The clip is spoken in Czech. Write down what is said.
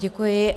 Děkuji.